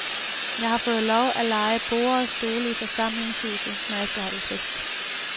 Jeg har fået lov at leje borde og stole i forsamlingshuset, når jeg skal holde fest.